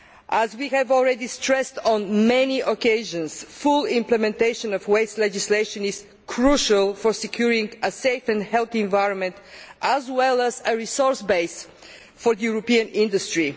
As we have already stressed on many occasions, full implementation of waste legislation is crucial for securing a safe and healthy environment, as well as a resource base for European industry.